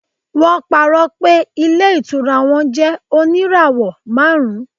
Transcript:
wọn parọ pé ilé ìtura won jẹ oníràwò marun